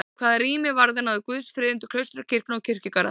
Hvað rými varðar náði guðsfriðurinn til klaustra, kirkna og kirkjugarða.